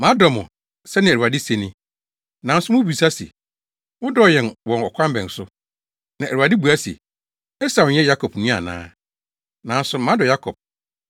“Madɔ mo,” sɛnea Awurade se ni. “Nanso mubisa se, ‘Wodɔɔ yɛn wɔ ɔkwan bɛn so?’ ” Na Awurade bua se, “Esau nyɛ Yakob nua ana? Nanso madɔ Yakob,